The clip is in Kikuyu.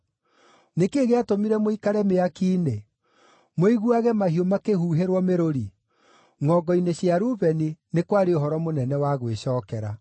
Nĩ kĩĩ gĩatũmire mũikare mĩaki-inĩ mũiguage mahiũ makĩhuhĩrwo mĩrũri? Ngʼongo-inĩ cia Rubeni nĩ kwarĩ ũhoro mũnene wa gwĩcookera.